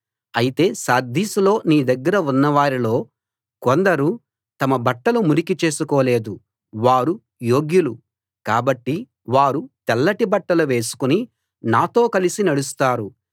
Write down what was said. అయితే సార్దీస్ లో నీ దగ్గర ఉన్నవారిలో కొందరు తమ బట్టలు మురికి చేసుకోలేదు వారు యోగ్యులు కాబట్టి వారు తెల్లటి బట్టలు వేసుకుని నాతో కలసి నడుస్తారు